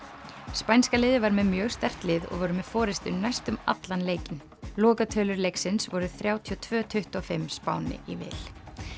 spænska liðið var með mjög sterkt lið og voru með næstum allan leikinn lokatölur leiksins voru þrjátíu og tveir til tuttugu og fimm Spáni í vil